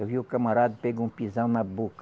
Eu vi o camarada pegou um pisão na boca.